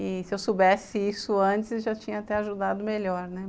E se eu soubesse isso antes, já tinha até ajudado melhor, né?